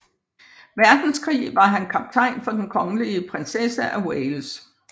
Verdenskrig var han kaptajn for Den Kongelige Prinsesse af Wales